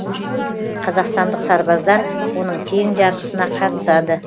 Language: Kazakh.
қазақстандық сарбаздар оның тең жартысына қатысады